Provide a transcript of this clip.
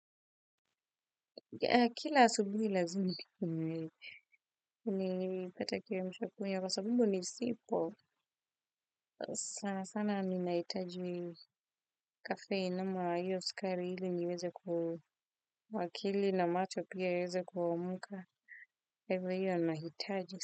KIla asubuhi lazima ni nipate kiamsha kinywa kwa sabau nisipo sana sana ninahitaji caffeine ama hiyo sukari ili niweze ku akili na macho pia ieze kuamka kwa hivyo hiyo nahitaji.